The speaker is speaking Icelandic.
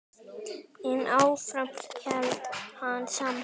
En áfram hélt hann samt.